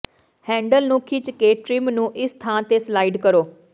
handle ਨੂੰ ਖਿੱਚ ਕੇ ਟ੍ਰਿਮ ਨੂੰ ਇਸ ਥਾਂ ਤੇ ਸਲਾਈਡ ਕਰੋ